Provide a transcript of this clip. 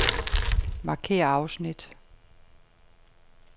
Markér afsnit.